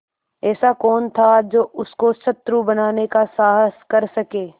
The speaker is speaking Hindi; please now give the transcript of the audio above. ऐसा कौन था जो उसको शत्रु बनाने का साहस कर सके